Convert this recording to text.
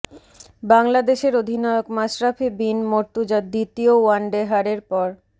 বাংলাদেশের অধিনায়ক মাশরাফি বিন মর্তুজা দ্বিতীয় ওয়ানডে হারের পর